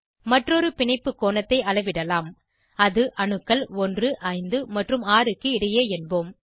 மற்றொரு பிணைப்பு கோணத்தை அளவிடலாம் அது அணுக்கள் 1 5 மற்றும் 6 க்கு இடையே என்போம்